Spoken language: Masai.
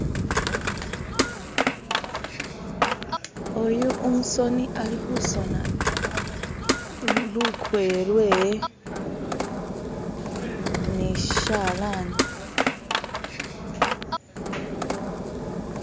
Oyu umusoni ali kusona lukoye lwewe ni shishalani